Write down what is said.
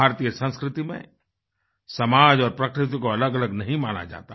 भारतीय संस्कृति में समाज और प्रकृति को अलगअलग नहीं माना जाता